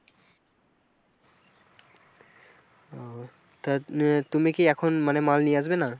ও তা তুমি কি এখন মানে মাল নিয়ে আসবে না?